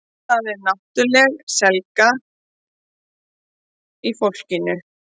Það er náttúrulega seigla í fólkinu